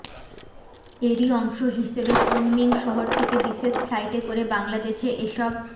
এরই অংশ হিসেবে কুনমিং শহর থেকে বিশেষ ফ্লাইটে করে বাংলাদেশে এসব